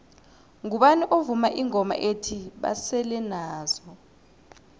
ngubani ovuma ingoma ethi basele nazo